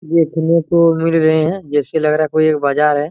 देखने को मिल गए है जैसा लग रहा कोई एक बाजार है।